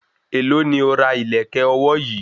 Èló ni o ra ìlẹ̀kẹ̀ ọwọ́ yìí?